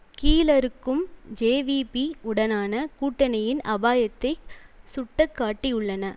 கீழறுக்கும் JVP உடனான கூட்டணியின் அபாயத்தை சுட்டக் காட்டியுள்ளன